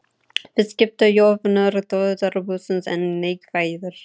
Viðskiptajöfnuður þjóðarbúsins enn neikvæður